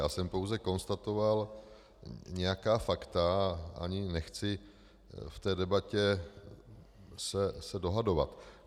Já jsem pouze konstatoval nějaká fakta a ani nechci v té debatě se dohadovat.